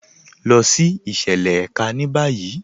Lọ sí ìṣẹ̀lẹ̀ èká ní báyì.